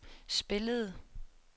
spillede